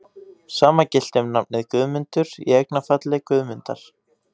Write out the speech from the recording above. Sama gilti um nafnið Guðmundur, í eignarfalli Guðmundar.